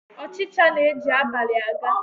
Ọchịcha na-eji abalị a ga